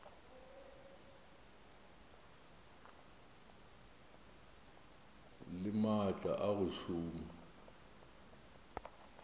le maatla a go šoma